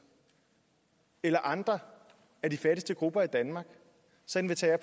eller andre af de fattigste grupper i danmark så inviterer